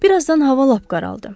Bir azdan hava lap qaraldı.